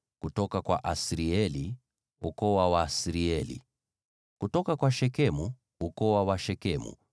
kutoka kwa Asirieli, ukoo wa Waasirieli; kutoka kwa Shekemu, ukoo wa Washekemu;